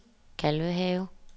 Kalvehave